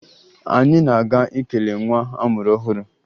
Anyị na-aga ikele nwa a mụrụ ọhụrụ